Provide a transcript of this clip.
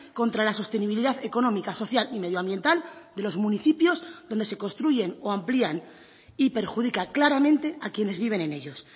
contra la sostenibilidad económica social y medioambiental de los municipios donde se construyen o amplían y perjudica claramente a quienes viven en ellos